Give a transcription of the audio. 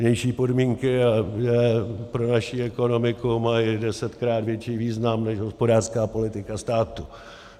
Vnější podmínky pro naší ekonomiku mají desetkrát větší význam než hospodářská politika státu.